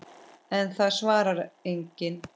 En það svarar enginn.